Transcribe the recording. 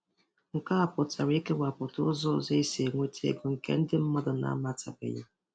Nke a pụtara ịkewapụta ụzọ ọzọ esi enweta ego nke ndị mmadụ na-amatabeghị.